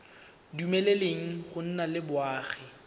dumeleleng go nna le boagi